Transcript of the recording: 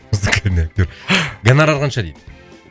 музыкальный актер гонорар қанша дейді